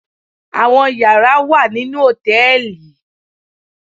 Àwọn yàrá wà nínú hòtẹ́ẹ̀lì